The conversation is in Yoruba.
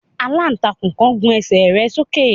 Àlàntakún kan gùn ẹ́sẹ rẹ sóke